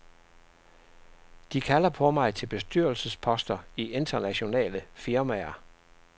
De kalder på mig til bestyrelsesposter i internationale firmaer.